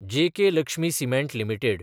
JK Lakshmi cement limited